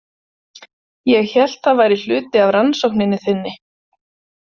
ég hélt það væri hluti af rannsókninni þinni.